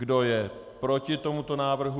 Kdo je proti tomuto návrhu?